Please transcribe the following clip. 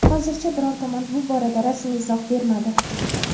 Hozircha biror tomon bu borada rasmiy izoh bermadi.